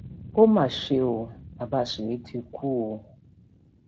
ó mà ṣe ọ baba súwé ti um kú o